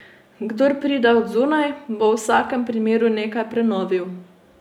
Kdor pride od zunaj, bo v vsakem primeru nekaj prenovil.